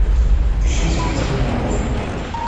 ищи смертельный улов